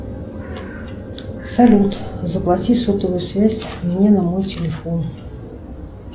салют заплати сотовую связь мне на мой телефон